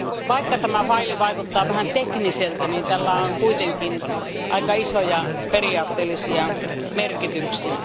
Vaikka tämä asiakirja vaikuttaa vähän tekniseltä, sillä on kuitenkin isoja periaatteellisia merkityksiä.